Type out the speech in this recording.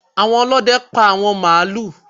Àwọn Olóde pá àwọn màálù.